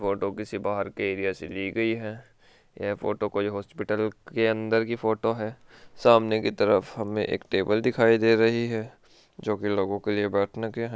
Photo किसी बाहर के एरिया से ली गई है ये फोटो कोई हॉस्पिटल के अंदर की फोटो है सामने की तरफ हमे एक टेबल दिखाई दे रही है जो की लोगों के लिए बैठने के है।